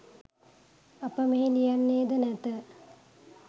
අප මෙහි ලියන්නේද නැත.